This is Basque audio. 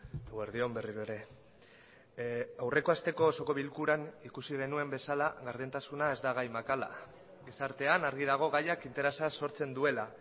eguerdi on berriro ere aurreko hasteko osoko bilkuran ikusi genuen bezala gardentasuna ez da gai makala gizartean argi dago gaiak interesa sortzen duela